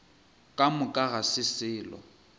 ka moka ga se selo